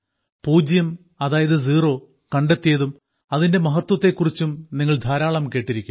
പൂജ്യം അതായത് സീറോ കണ്ടെത്തിയതും അതിന്റെ മഹത്വത്തെ കുറിച്ചും നിങ്ങൾ ധാരാളം കേട്ടിരിക്കും